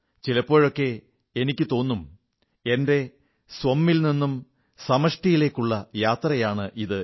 ചിലപ്പോഴൊക്കെ എനിക്കു തോന്നും എന്റെ സ്വ മ്മിൽ നിന്നും സമഷ്ടിയിലേക്കുള്ള യാത്രയാണിത്